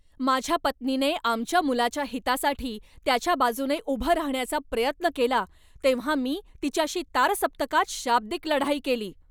माझ्या पत्नीने आमच्या मुलाच्या हितासाठी त्याच्या बाजूने उभं राहण्याचा प्रयत्न केला तेव्हा मी तिच्याशी तारसप्तकात शाब्दिक लढाई केली.